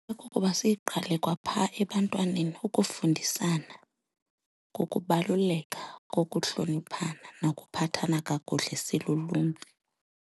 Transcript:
Okokuba siyiqale kwaphaa ebantwaneni ukufundisana ngokubaluleka kokuhloniphana nokuphathana kakuhle siluluntu.